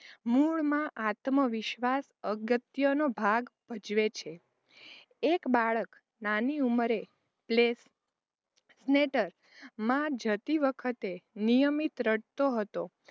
મૂળમાં આત્મવિશ્વાસ અગત્યનો ભાગ ભજવે છે એક બાળક નાની ઉંમરે માં જતી વખતે નિયમિત રડતો હતો.